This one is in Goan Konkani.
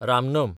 रामनम